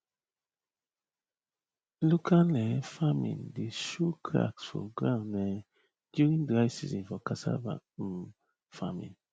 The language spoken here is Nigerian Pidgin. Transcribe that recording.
local um farming dey show cracks for ground um during dry season for cassava um farming